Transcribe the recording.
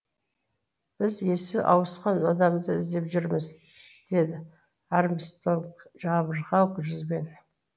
біз есі ауысқан адамды іздеп жүрміз деді армстронг жабырқау жүзбен